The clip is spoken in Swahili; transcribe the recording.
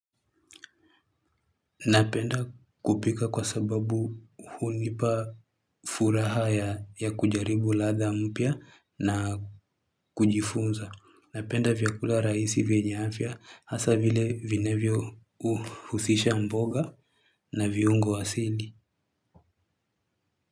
Napenda kupika kwa sababu hunipa furaha ya kujaribu ladha mpya na kujifunza. Napenda vyakula rahisi vyenye afya hasa vile vinavyo husisha mboga na viungo asili.